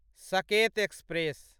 सकेत एक्सप्रेस